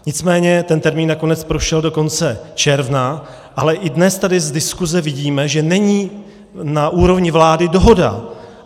Nicméně ten termín nakonec prošel do konce června, ale i dnes tady z diskuse vidíme, že není na úrovni vlády dohoda.